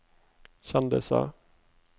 kjendiser